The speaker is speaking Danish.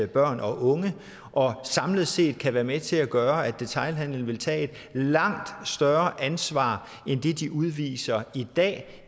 børn og unge og samlet set kan være med til at gøre at detailhandelen vil tage et langt større ansvar end det de udviser i dag